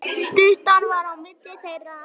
Styttan var á milli þeirra.